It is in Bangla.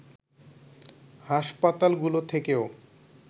হাসপাতালগুলো থেকেও